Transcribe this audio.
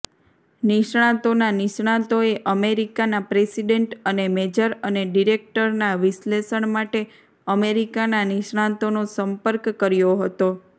નિષ્ણાતોના નિષ્ણાતોએ અમેરિકાના પ્રેસિડેન્ટ અને મેજર અને ડિરેક્ટરના વિશ્લેષણ માટે અમેરિકાના નિષ્ણાતોનો સંપર્ક કર્યો હતો